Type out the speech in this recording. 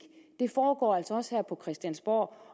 også foregår her på christiansborg